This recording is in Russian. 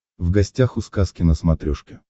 в гостях у сказки на смотрешке